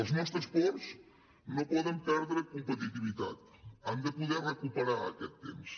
els nostres ports no poden perdre competitivitat han de poder recuperar aquest temps